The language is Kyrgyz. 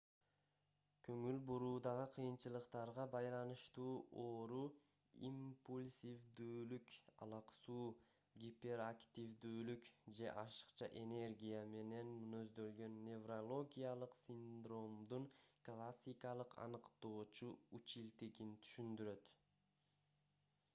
көңүл буруудагы кыйынчылыктарга байланыштуу ооруу - импульсивдүүлүк алаксуу гиперактивдүүлүк же ашыкча энергия менен мүнөздөлгөн неврологиялык синдромдун классикалык аныктоочу үчилтигин түшүндүрөт